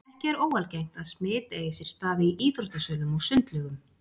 Ekki er óalgengt að smit eigi sér stað í íþróttasölum og sundlaugum.